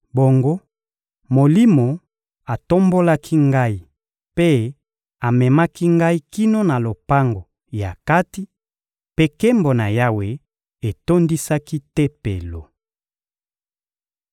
Bongo, Molimo atombolaki ngai mpe amemaki ngai kino na lopango ya kati, mpe nkembo na Yawe etondisaki Tempelo.